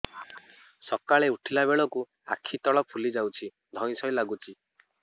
ସକାଳେ ଉଠିଲା ବେଳକୁ ଆଖି ତଳ ଫୁଲି ଯାଉଛି ଧଇଁ ସଇଁ ଲାଗୁଚି